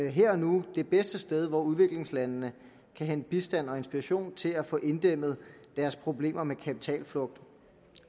her og nu det bedste sted hvor udviklingslandene kan hente bistand og inspiration til at få inddæmmet deres problemer med kapitalflugt